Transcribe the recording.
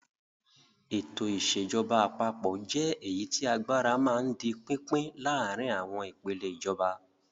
Ètò ìṣèjọba àpapọ̀ jẹ́ èyí tí agbára máa ń di pínpín láàárin àwọn ìpèlè ìjọba.